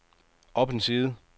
op en side